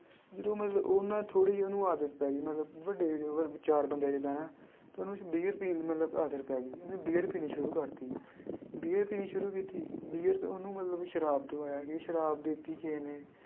ਜਦੋਂ ਮਤਲਬ ਉਹ ਨਾ ਥੋੜ੍ਹੀ ਉਹਨੂੰ ਆਦਤ ਪੈ ਗਈ ਮਤਲਬ ਵੱਡੇ ਚਾਰ ਬੰਦਿਆਂ 'ਚ ਬਹਿਣਾ ਤੇ ਉਹਨੂੰ ਬੀਅਰ ਪੀਣ ਦੀ ਮਤਲਬ ਆਦਤ ਪੈ ਗਈ, ਉਹਨੇ ਬੀਅਰ ਪੀਣੀ ਸ਼ੁਰੂ ਕਰ ਦਿੱਤੀ, ਬੀਅਰ ਪੀਣੀ ਸ਼ੁਰੂ ਕੀਤੀ ਬੀਅਰ 'ਚ ਉਹਨੂੰ ਮਤਲਬ ਸ਼ਰਾਬ ਦਵਾਇਆ ਕਿ ਸ਼ਰਾਬ ਦੇ ਦਿੱਤੀ ਕਿਸੇ ਨੇ।